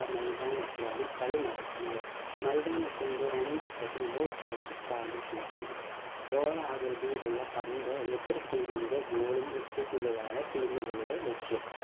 മൈതാനത്തിലാണ് കളി നടക്കുന്നത് മൈതാനത്തിൻ്റെ രണ്ട് അറ്റത്തും goal post സ്ഥാപിച്ചിരിക്കും ഗോളാകൃതിലുള്ള പന്ത് എതിർ team ൻ്റെ goal ൽ എത്തിക്കുകയാണ് team കളുടെ ലക്ഷ്യം